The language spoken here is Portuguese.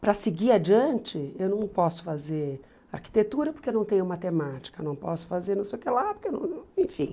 Para seguir adiante, eu não posso fazer arquitetura porque não tenho matemática, não posso fazer não sei o que lá, porque não enfim.